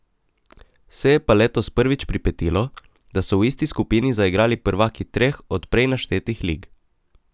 Se je pa letos prvič pripetilo, da so v isti skupini zaigrali prvaki treh od prej naštetih lig.